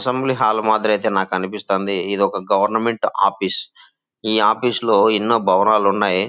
Assembly hall మాదిరితే నాకు అనిపిస్తోంది. ఇది ఒక గవర్నమెంట్ ఆఫీస్. ఈ ఆఫీసులో ఎన్నో భవనాలు ఉన్నాయి.